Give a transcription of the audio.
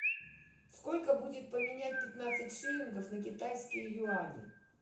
сколько будет поменять пятнадцать шиллингов на китайские юани